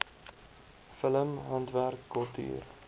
film handwerk kultuur